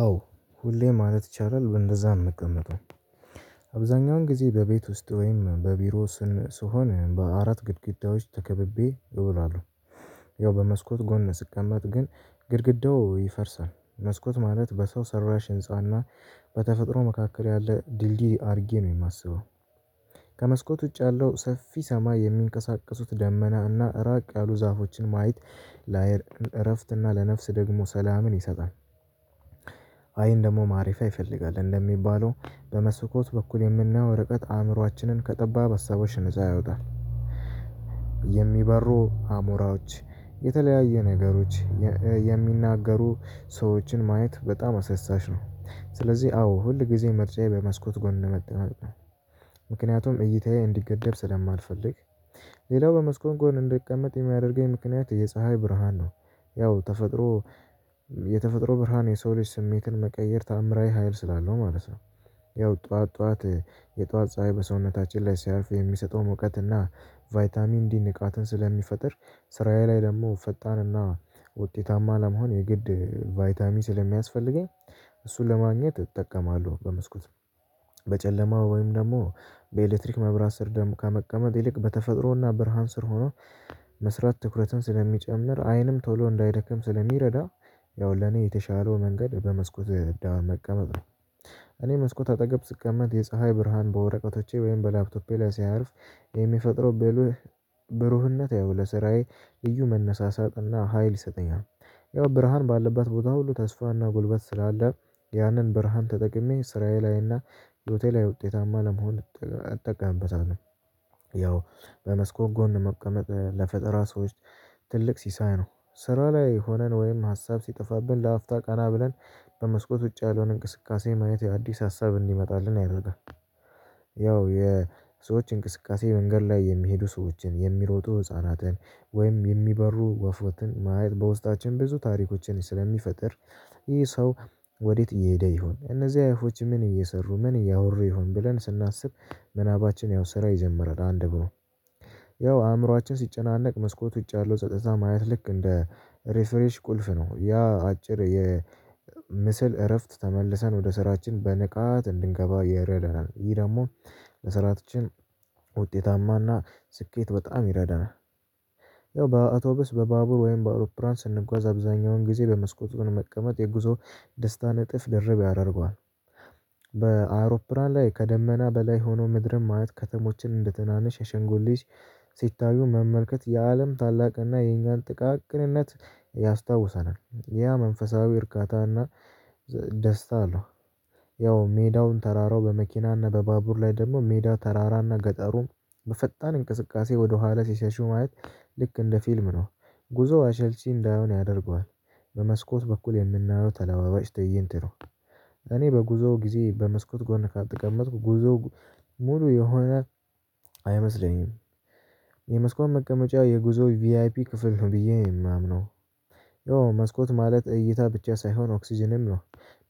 አዎ ሁሌ ማለት ይቻላል በእንደዛ ነው የምንቀመጠው አብዛኛውን ጊዜ በቤት ውስጥ ወይም በቢሮ ውስጥ ስሆን በአራት ግድግዳዎች ተከብቤ እውላለሁ። ያው በመስኮት ጎን ስቀመጥ ግን ግድግዳው ይፈርሳል መስኮት ማለት በሰው ሰራሽ ህንፃና በተፈጥሮ መካከል ያለ ድልድይ አድርጌ ነው የማስበው። ከመስኮት ውጭ ያለው ሰፊ ሰማይ የሚንቀሳቀሱት ደመና እና ራቅ ያሉ ዛፎችን ማየት ለአይን እረፍት እና ለነፍስ ደግሞ ሰላምን ይሰጣል። አይን ደግሞ ማረፊያ ይፈልጋል እንደሚባለው በመስኮት በኩል የምናየው ርቀት አእምሮአችንን ከጠባብ ሀሳቦች ነፃ ያወጣል። የሚበሩ አሞራዎች የተለያዩ ነገሮች የሚናገሩ ሰዎችን ማየት በጣም አሳሳች ነው። ስለዚህ አዎ ሁል ጊዜ ምርጫዬ በመስኮት ጎን መቀመጥ ነው። ምክንያቱም እይታዬ እንዲገደብ ስለማልፈልግ። ሌላው በመስኮት ጎን እንድቀመጥ የሚያደርገኝ ምክንያት የፀሀይ ብርሃን ነው። ያው ተፈጥሮ የተፈጥሮ ብርሃን የሰው ልጅ ስሜትን መቀየር ተአምራዊ ሀይል ስላለው ማለት ነው። ያው ጠዋት ጠዋት የጠዋት ፀሀይ በሰውነታችን ላይ ሲያልፍ የሚሰጠው ሙቀትና ቫይታሚን ዲ ንቃትን ስለሚፈጥር ስራዬ ላይ ደግሞ ፈጣንና ውጤታማ ለመሆን የግድ ቫይታሚ ስለሚያስፈልገኝ። እሱን ለማግኘት እጠቀማለሁ። በመስኮት በጨለማው ወይም ደግሞ በኤሌክትሪክ መብራት ስር ደግሞ ከመቀመጥ ይልቅ በተፈጥሮና ብርሃን ስር ሆኖ መስራት ትኩረትን ስለሚጨምር አይንም ቶሎ እንዳይደክም ስለሚረዳ። ያው ለኔ የተሻለው መንገድ በመስኮት ዳር መቀመጥ ነው። እኔ መስኮት አጠገብ ስቀመጥ የፀሀይ ብርሃን በወረቀቶቼ ወይም በላፕቶፔ ላይ ሲያርፍ የሚፈጥረው ብሩህነት ያው ለስራዬ ልዩ መነሳሳትና ሀይል ይሰጠኛ ያው ብርሃን ባለብት ቦታ ሁሉ ተስፋና ጉልበት ስላለ ያንን ብርሃን ተጠቅሜ ስራዬ ላይና ህይወቴ ላይ ውጤታማ ለመሆን እጠቀምበታለሁ። ያው በመስኮብ ጎን መቀመጥ ለፈጠራ ሰዎች ትልቅ ሲሳይ ነው። ስራ ላይ ሆነን ወይም ሀሳብ ሲጠፋብን ለአፍታ ቀና ብለን በመስኮት ውጭ ያለውን እንቅስቃሴ ማየት አዲስ ሀሳብ እንዲመጣልን አይረጋም። ያው የሰዎች እንቅስቃሴ መንገድ ላይ የሚሄዱ ሰዎችን የሚሮጡ ህፃናትን ወይም የሚበሩ ወፎችን ማየት በውስጣችን ብዙ ታሪኮችን ስለሚፈጥር። ይህ ሰው ወዴት እየሄደ ይሆን እነዚህ አዋፎች ምን እየሰሩ ምን እያወሩ ይሆን ብለን ስናስብ ምናባችን ያው ስራ ይጀምራል። አንድ ብሎ ያው አእምሮአችን ሲጨናነቅ መስኮት ውጭ ያለው ጸጥታ ማየት ልክ እንደ ሪፍሬሽ ቁልፍ ነው ያ አጭር የምስል እረፍት ተመልሰን ወደ ስራችን በንቃት እንድንገባ ይረዳናል። ይሄ ደግሞ ለስራችን ውጤታማና ስኬት በጣም ይረዳናል። ያው በአቶብስ በባቡር ወይም በአውሮፕላን ስንጓዝ አብዛኛውን ጊዜ በመስኮቱን መቀመጥ የጉዞ ደስታን እጥፍ ድርብ ያደርገዋል። በአውሮፕላን ላይ ከደመና በላይ ሆኖ ምድርን ማየት ከተሞችን እንደትናንሽ የሻንጉሊት ሲታዩ መመልከት የአለም ታላቅነት እና የኛን ጥቃቅንነት ያስታውሰናል ያ መንፈሳዊ እርካታና ደስታ አለው። ያው ሜዳውን ተራራው በመኪና እና በባቡር ላይ ደግሞ ሜዳ ተራራ እና ገጠሩም በፈጣን እንቅስቃሴ ወደኋላ ሲሸሹ ማየት ልክ እንደ ፊልም ነው። ጉዞ አሰልቺ እንዳይሆን ያደርገዋል። በመስኮት በኩል የምናየው ተለዋዋጭ ትይንት ነው። እኔ በጉዞ ጊዜ በመስኮት ጎን ካልተቀመጥኩ ጉዞው ሙሉ የሆነ አይመስለኝም። የመስኮት መቀመጫ የጉዞ ቪአይፒ ክፍል ነው ብዬ ነው የማምነው። ያው መስኮት ማለት እይታ ብቻ ሳይሆን ኦክስጅንም ነው።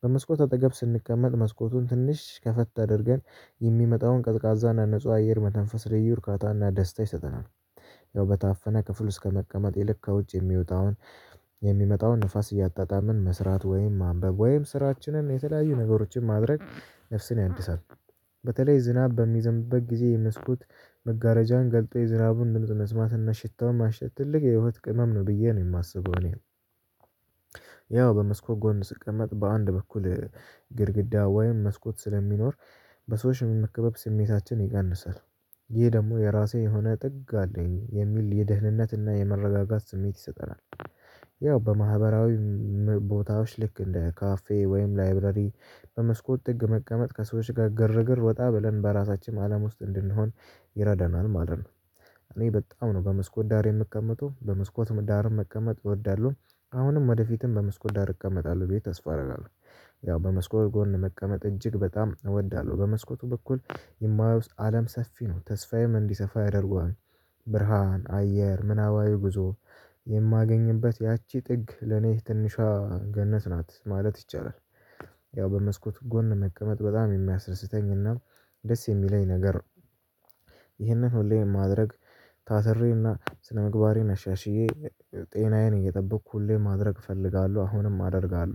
በመስኮት አጠገብ ስንቀመጥ መስኮቱን ትንሽ ከፈት አድርገን የሚመጣውን ቀዝቃዛና ንጹህ አየር መተንፈስ ልዩ እርካታና ደስታ ይሰጠናል። ያው በታፈነ ክፍል ውስጥ ከመቀመጥ ይልቅ ከውጭ የሚመጣውን ንፋስ እያጣጣምን መስራት ወይም ማንበብ ወይም ስራችንን የተለያዩ ነገሮችን ማድረግ ነፍስን ያድሳል። በተለይ ዝናብ በሚዘንብበት ጊዜ የመስኮት መጋረጃን ገልጠው የዝራቡን ድምጽ መስማትና ሽታው ማሽተት ትልቅ የህይወት ቅመም ነው ብዬ ነው የማስበው። እኔ ያው በመስኮ ጎን ስቀመጥ በአንድ በኩል ግድግዳ ወይም መስኮት ስለሚኖር በሰዎች የመከበብ ስሜታችን ይቀንሳል። ይህ ደግሞ የራሴ የሆነ ጥግ አለኝ የሚል የደህንነትና የመረጋጋት ስሜት ይሰጠናል። ያው በማህበራዊ ቦታዎች ልክ እንደ ካፌ ወይም ላይብረሪ በመስኮት ጥግ መቀመጥ ከሰዎች ጋር ግርግር ወጣ ብለን በራሳችን አለም ውስጥ እንድንሆን ይረዳናል ማለት ነው። እኔ በጣም ነው በመስኮት ዳር የምቀመጠው በመስኮት ዳርም መቀመጥ እወዳለሁ። አሁንም ወደፊትም በመስኮት ዳር እቀመጣለሁ ብዬ ተስፋ አደርጋለሁ። ያው በመስኮል ጎን መቀመጥ እጅግ በጣም እወዳለሁ በመስኮቱ በኩል የማየው አለም ሰፊ ነው ተስፋዬም እንዲሰፋ ያደርገዋል። ብርሃን አየር ምናባዊ ብዙ የማገኝበት ያቺ ጥግ ለኔ ትንሿ ገነት ናት ማለት ይቻላል። ያው በመስኮት ጎን መቀመጥ በጣም የሚያስደስተኝና ደስ የሚለኝ ነገር ይህንን ሁሌም ማድረግ ታስሬና ስነምግባሬን አሻሽዬ ጤናዬን እየጠበቅኩ ሁሌ ማድረግ እፈልጋለሁ። አሁንም አደርጋለሁ